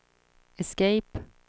escape